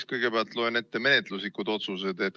Ma kõigepealt loen ette menetluslikud otsused.